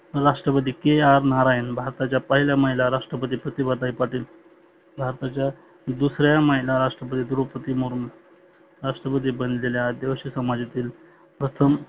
राष्ट्रपती KR नारायन, भारताच्या पहिल्या महिला राष्ट्रपती प्रतिभाताई पाटील. भारताच्या दुसर्या महिला राष्ट्रपती द्रोपती मुरमुन, राष्ट्रपती बनलेल्या आदिवासी समाजातील प्रथम